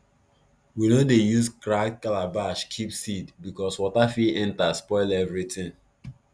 we no dey use cracked calabash keep seed because water fit enter spoil everything